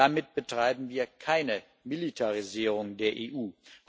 Damit betreiben wir keine Militarisierung der EU.